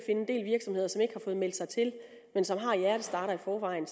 en del virksomheder som ikke har fået meldt sig til men som har hjertestartere i forvejen